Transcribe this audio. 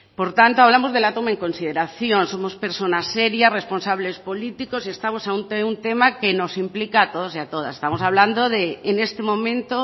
por tanto hablamos de la toma en consideración somos personas serias responsables políticos y estamos ante un tema que nos implica a todos y a todas estamos hablando de en este momento